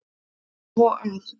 Svo að.